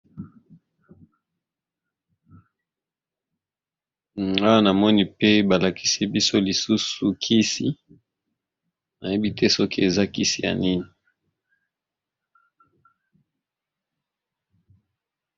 Awa namoni pe balakisi biso lisusu kisi nayebi te soki eza kisi ya nini.